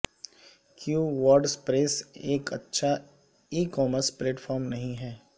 کیوں ورڈپریس ایک اچھا ای کامرس پلیٹ فارم نہیں ہے